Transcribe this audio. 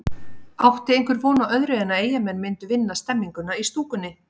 Átti einhver von á öðru en að Eyjamenn myndu vinna stemninguna í stúkunni?